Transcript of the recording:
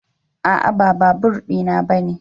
A'a ba babur di na bane.